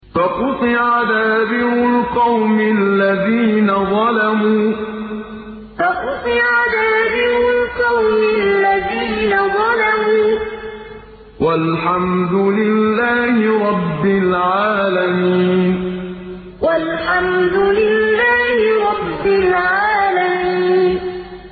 فَقُطِعَ دَابِرُ الْقَوْمِ الَّذِينَ ظَلَمُوا ۚ وَالْحَمْدُ لِلَّهِ رَبِّ الْعَالَمِينَ فَقُطِعَ دَابِرُ الْقَوْمِ الَّذِينَ ظَلَمُوا ۚ وَالْحَمْدُ لِلَّهِ رَبِّ الْعَالَمِينَ